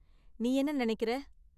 நீ என்ன நினைக்கிற?